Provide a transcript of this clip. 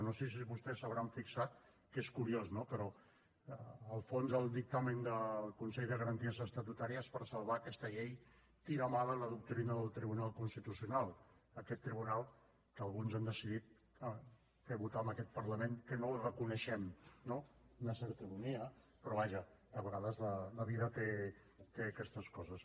no sé si vostès s’hi hauran fixat que és curiós no però el fons del dictamen del consell de garanties estatutàries per salvar aquesta llei tira mà de la doctrina del tribunal constitucional aquest tribunal que alguns han decidit fer votar en aquest parlament que no el reconeixem no una certa ironia però vaja a vegades la vida té aquestes coses